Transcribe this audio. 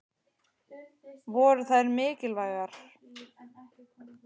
Voru þær mikilvægar?